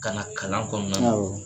Ka na kalan kɔnɔna na awɔ.